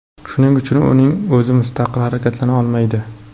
Shuning uchun, uning o‘zi mustaqil harakatlana olmaydi.